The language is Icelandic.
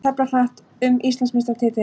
Tefla hratt um Íslandsmeistaratitil